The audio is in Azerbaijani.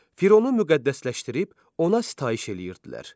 Fironu müqəddəsləşdirib ona sitayiş eləyirdilər.